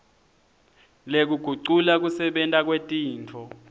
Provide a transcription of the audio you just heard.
lekugucula kusebenta kwetintfo